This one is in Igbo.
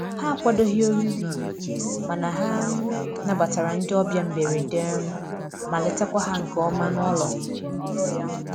Ha akwadoghị oriri, mana ha um nabatara ndị ọbịa mberede um ma letakwa ha nke ọma n'ụlọ.